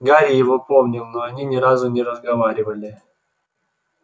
гарри его помнил но они ни разу не разговаривали